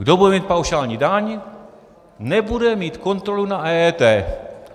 Kdo bude mít paušální daň, nebude mít kontrolu na EET.